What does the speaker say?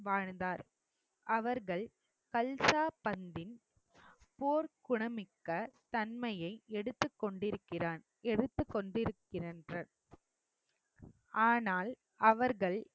வாழ்ந்தார் அவர்கள் பல்சாபந்தின் போர்க்குணமிக்க தன்மையை எடுத்து கொண்டிருக்கிறான் எடுத்து கொண்டிருக்கிறன் ஆனால் அவர்கள்